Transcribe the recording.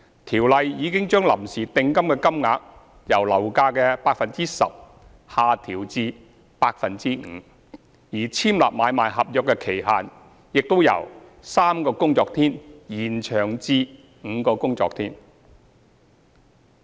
《條例》已將臨時訂金的金額由樓價的 10% 下調至 5%， 而簽立買賣合約的期限亦已由3個工作天延長至5個工作天。